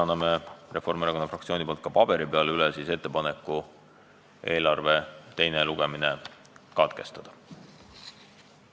Annan Reformierakonna fraktsiooni nimel üle ka paberil ettepaneku eelarve teine lugemine katkestada.